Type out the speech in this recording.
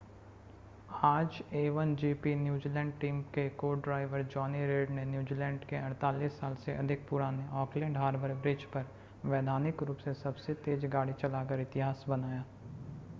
आज a1gp New Zealand team के co driver Johnny Reid ने न्यूज़ीलैंड के 48 साल से अधिक पुराने ऑकलैंड हार्बर ब्रिज पर वैधानिक रूप से सबसे तेज़ गाड़ी चलाकर इतिहास बनाया